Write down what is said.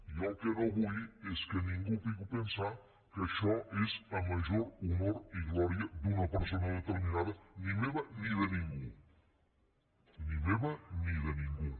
jo el que no vull és que ningú pugui pensar que això és a major honor i glòria d’una persona determinada ni meva ni de ningú ni meva ni de ningú